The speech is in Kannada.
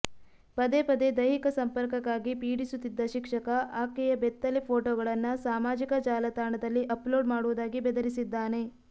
ಪದೇ ಪದೇ ದೈಹಿಕ ಸಂಪರ್ಕಕ್ಕಾಗಿ ಪೀಡಿಸುತ್ತಿದ್ದ ಶಿಕ್ಷಕ ಆಕೆಯ ಬೆತ್ತಲೇ ಫೋಟೋಗಳನ್ನ ಸಾಮಾಜಿಕ ಜಾಲತಾಣದಲ್ಲಿ ಅಪ್ಲೋಡ್ ಮಾಡುವುದಾಗಿ ಬೆದರಿಸಿದ್ದಾನೆ